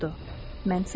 Deyə o soruşdu.